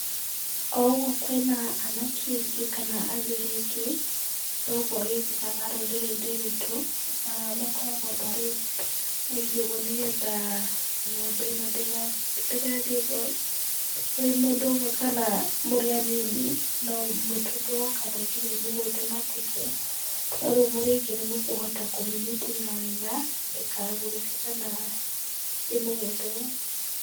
O ũgwo kwĩna akane aingĩ , kana athuri aingĩ, nogwo gĩkĩkaga mũno rũrĩrĩ-inĩ rwitũ ,makoragwo marĩ aingĩ ũgwo nĩgetha n'gombe ĩno ndĩga ndĩgathiĩ ũgwo kwĩ mũndũ ũmwe , kana mũrĩ anini no mũtuthwo kana nginya ĩmũgũthe mateke, no rĩu mũrĩ aingĩ nĩ mũkũhota kũmĩnyitĩrĩra wega ndĩkagũrũke kana ĩmũgũthe.